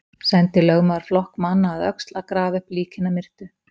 Sendi lögmaður flokk manna að Öxl að grafa upp lík hinna myrtu.